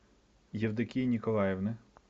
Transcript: евдокии николаевны